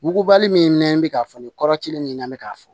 Mugubali min nɛ bɛ k'a fɔ nin kɔrɔ cilen nin n bɛ k'a fɔ